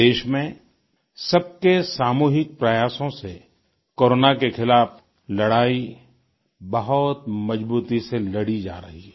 देश में सबके सामूहिक प्रयासों से कोरोना के खिलाफ लड़ाई बहुत मजबूती से लड़ी जा रही है